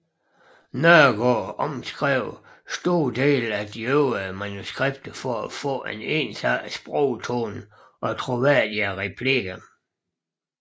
Nørgaard omskrev store dele af de øvriges manuskripter for at få en ensartet sprogtone og troværdige replikker